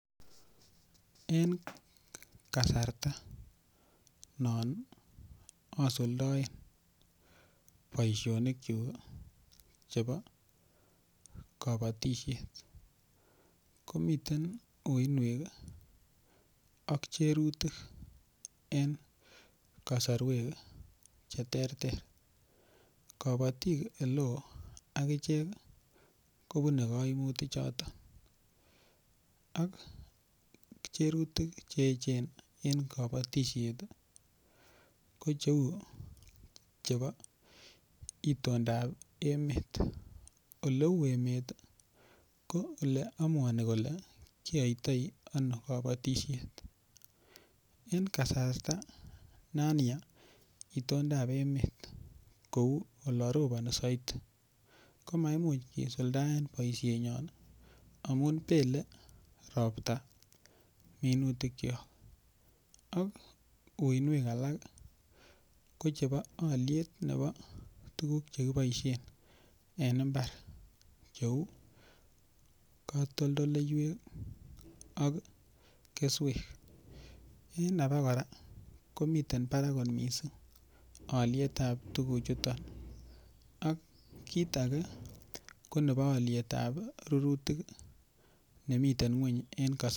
Eng kasarta non asuldoen boishonik chu chebo kobotishet komiten uinwek ak cherutik en kosorwek che ter ter kobotik eleo akichek kobunei kaimutik chotok ak cherutik che echen eng kobotishet ko cheu chebo itondap emet oleu emet ko ole amuani kole kiyoitoi ano kobotishet en kasarta nan ya itondap emet kou lo ropani saidi komaimuchi kisuldaen boishet nyon amun pele ropta minutik cho ak uinwek alak kochepo oliet nebo tukuk chekiboishen en imbar cheu katoltoleiwek ak keswek eng ake kora komiten barak kot mising aliet ap tukuchuton ak kiit ake ko nebo aliet ap rututik nemiten ng'weny en kas.